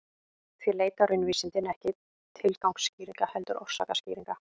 Því leita raunvísindin ekki tilgangsskýringa heldur orsakaskýringa.